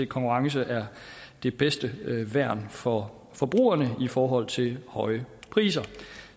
konkurrence er det bedste værn for forbrugerne i forhold til høje priser